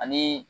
Ani